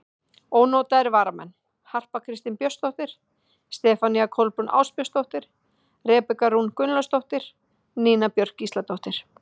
Ónotaðir varamenn: Harpa Kristín Björnsdóttir, Stefanía Kolbrún Ásbjörnsdóttir, Rebekka Rún Gunnlaugsdóttir, Nína Björk Gísladóttir.